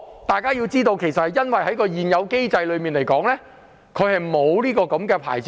大家要知道，並不是他們不想領牌，而是現有機制沒有提供相關牌照。